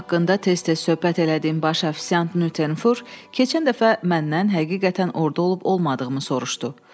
İşim haqqında tez-tez söhbət elədiyim baş ofisiant Nüttenfur keçən dəfə məndən həqiqətən orda olub-olmadığımı soruşdu.